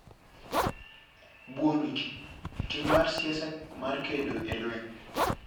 Buono Ji: Tim mar siasa mar kedo e lweny